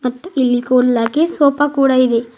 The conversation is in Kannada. ಮತ್ತು ಇಲ್ಲಿ ಕುಡ್ಲಕ್ಕೆ ಸೋಫಾ ಕೂಡ ಇದೆ.